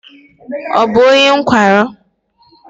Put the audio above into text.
Ọ bụ onye nkwarụ?